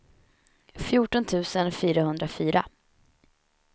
fjorton tusen fyrahundrafyra